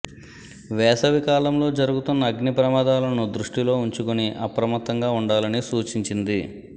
వేసవి కాలంలో జరుగుతున్న అగ్ని ప్రమాదాలను దృష్టిలో ఉంచుకుని అప్రమత్తంగా ఉండాలని సూచించింది